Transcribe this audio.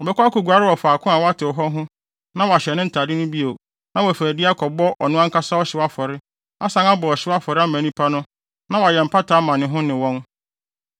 Ɔbɛkɔ akoguare wɔ faako a wɔatew hɔ ho na wahyɛ ne ntade no bio na wafi adi akɔbɔ ɔno ankasa ɔhyew afɔre asan abɔ ɔhyew afɔre ama nnipa no na wayɛ mpata ama ne ho ne wɔn.